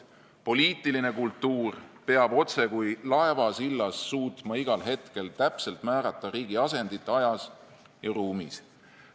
Poliitiline kultuur peab otsekui laevasillas suutma igal hetkel täpselt määrata riigi asendit ajas ja ruumis.